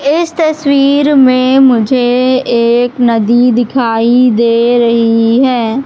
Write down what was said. इस तस्वीर में मुझे एक नदी दिखाई दे रही है।